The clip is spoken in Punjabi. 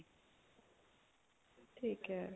ਠੀਕ ਏ